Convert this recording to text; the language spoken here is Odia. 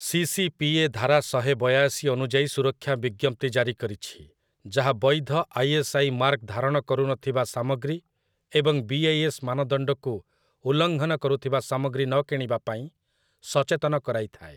ସି.ସି.ପି.ଏ. ଧାରା ଶହେ ବୟାଶି ଅନୁଯାୟୀ ସୁରକ୍ଷା ବିଜ୍ଞପ୍ତି ଜାରି କରିଛି, ଯାହା ବୈଧ ଆଇ.ଏସ୍.ଆଇ.ମାର୍କ ଧାରଣ କରୁ ନଥିବା ସାମଗ୍ରୀ ଏବଂ ବି.ଆଇ.ଏସ୍. ମାନଦଣ୍ଡକୁ ଉଲ୍ଲଙ୍ଘନ କରୁଥିବା ସାମଗ୍ରୀ ନ କିଣିବା ପାଇଁ ସଚେତନ କରାଇ ଥାଏ ।